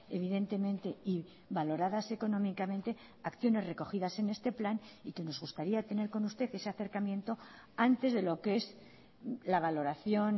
evidentemente y valoradas económicamente acciones recogidas en este plan y que nos gustaría tener con usted ese acercamiento antes de lo que es la valoración